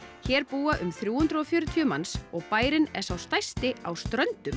hér búa um þrjú hundruð og fjörutíu manns og bærinn er sá stærsti á Ströndum